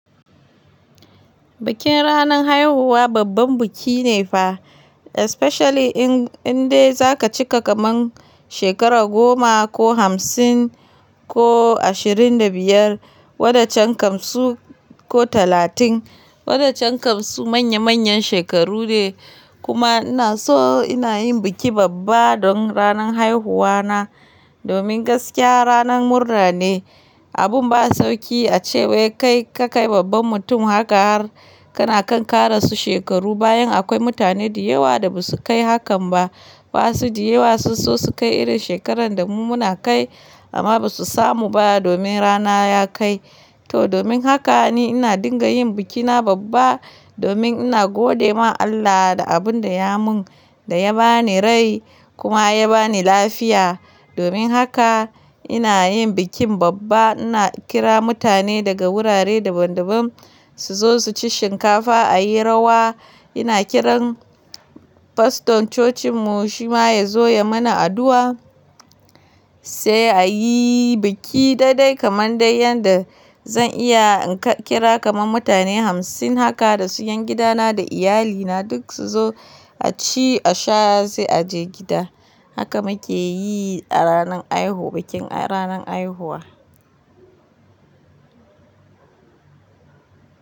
Bikin ranar haihuwa babban biki ne fa, especially in indai za ka cika kamar shekara goma ko hamsin ko ashirin da biyar wada can kam su ko talatin wada can kam su manya manyan shekaru ne. Kuma ina so ina yin biki babba don ranar haihuwa na, domin gaskiya ranar murra ne. Abin ba sauƙi a ce wai kai ka kai babban mutum haka har kana kan ƙara su shekaru bayan akwai mutane da yawa da basu kai hakan ba. Basu da yawa sosai su kai irin shekarar da mu muna kai amma ba su samu ba domin rana ya kai. To domin haka ni ina dinga yin bikina babba, domin ina gode ma Allah da abin da ya mun, da ya ba ni rai kuma ya ba ni lafiya. Domin haka ina yin bikin babba, ina kira mutane daga wurare daban daban su zo su ci shinkafa a yi rawa. Ina kiran faston cocinmu shi ma ya zo ya mana addu'a sai a yi biki daidai kamar dai yadda zan iya in kira kamar mutane hamsin haka da su yan gidana da iyalina duk su zo a ci, a sha sai a je gida. Haka muke yi a ranar haihuwa, bikin ranar haihuwa.